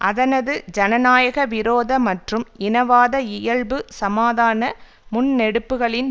அதனது ஜனநாயக விரோத மற்றும் இனவாத இயல்பு சமாதான முன்னெடுப்புகளின்